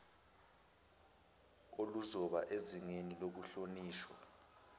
oluzoba sezingeni lokuhlonishwa